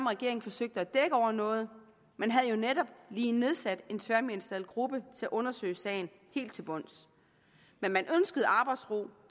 regeringen forsøgte at dække over noget man havde jo netop lige nedsat en tværministeriel gruppe til at undersøge sagen helt til bunds men man ønskede arbejdsro